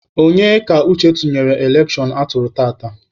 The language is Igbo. Onye ka Uche tụnyere n'elekshon atụrụ tata?